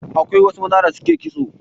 Akwai wasu maza da suke kitso.